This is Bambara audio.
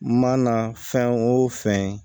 Mana fɛn o fɛn